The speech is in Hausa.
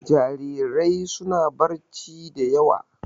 Jarirai suna barci da yawa.